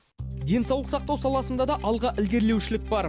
денсаулық сақтау саласында да алға ілгерлеушілік бар